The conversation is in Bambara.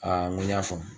n ko n y'a faamu